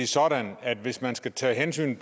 sådan at der hvis man skal tage hensyn